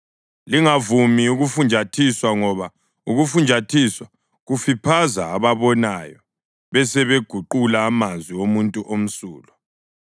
Lingavumi ukufunjathiswa ngoba ukufunjathiswa kufiphaza ababonayo besebeguqula amazwi omuntu omsulwa.